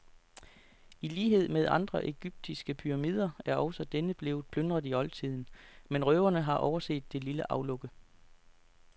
I lighed med andre egyptiske pyramider er også denne blevet plyndret i oldtiden, men røverne har overset det lille aflukke.